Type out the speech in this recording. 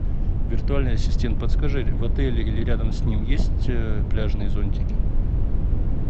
виртуальный ассистент подскажи в отеле или рядом с ним есть пляжные зонтики